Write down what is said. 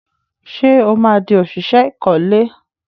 Ṣé ó máa di òṣìṣẹ́ ìkọ́lé?